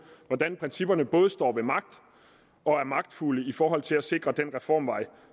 hvordan principperne både står ved magt og er magtfulde i forhold til at sikre den reformvej